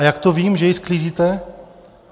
A jak to vím, že ji sklízíte?